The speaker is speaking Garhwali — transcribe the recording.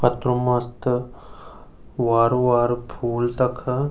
कतरू मस्त वारु वारु फूल तखा।